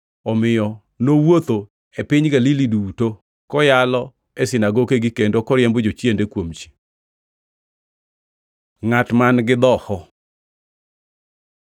Omiyo nowuotho e piny Galili duto, koyalo e sinagokegi kendo koriembo jochiende kuom ji. Ngʼat man-gi dhoho